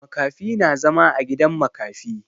Makafi na zama a gidan makafi.